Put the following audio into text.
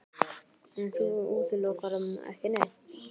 Höskuldur: En þú útilokar ekki neitt?